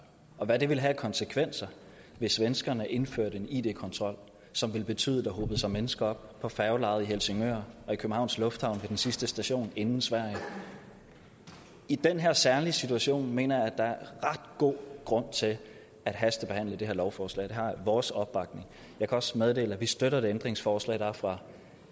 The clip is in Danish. og hvad det ville have af konsekvenser hvis svenskerne indførte en id kontrol som ville betyde at der hobede sig mennesker op på færgelejet i helsingør og i københavns lufthavn ved den sidste station inden sverige i den her særlige situation mener jeg der er ret god grund til at hastebehandle det her lovforslag det har vores opbakning jeg kan også meddele at vi støtter ændringsforslaget fra